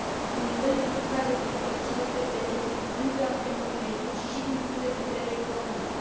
Un nivel ridicat de protecție este benefic nu doar pentru mediu, ci și din punct de vedere economic.